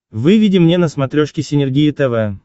выведи мне на смотрешке синергия тв